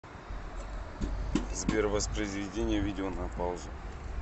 сбер воспроизведение видео на паузу